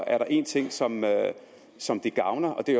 er der én ting som som gavner og det